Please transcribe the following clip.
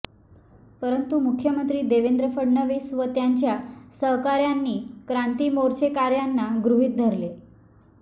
परंतु मुख्यमंत्री देवेंद्र फडणवीस व त्यांच्या सहकार्यांनी क्रांती मोर्चेकर्यांना गृहित धरले